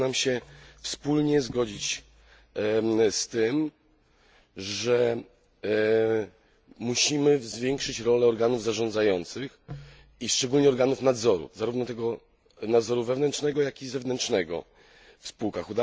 Udało nam się wspólnie zgodzić z tym, że musimy zwiększyć rolę organów zarządzających i szczególnie organów nadzoru, zarówno tego nadzoru wewnętrznego, jak i zewnętrznego w spółkach.